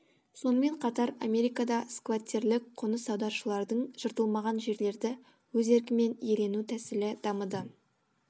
сонымең қатар америкада скваттерлік қоныс аударушылардың жыртылмаған жерлерді өз еркімен иелену тәсілі дамыды